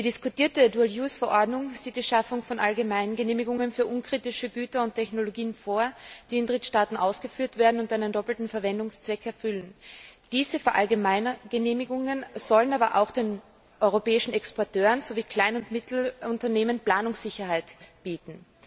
Die diskutierte Verordnung sieht die Schaffung von allgemeinen Genehmigungen für unkritische Güter und Technologien vor, die in Drittstaaten ausgeführt werden und einen doppelten Verwendungszweck erfüllen. Diese allgemeinen Genehmigungen sollen aber auch den europäischen Exporteuren sowie kleinen und mittleren Unternehmen Planungssicherheit bieten.